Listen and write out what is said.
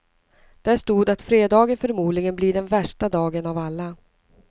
Där stod att fredagen förmodligen blir den värsta dagen av alla.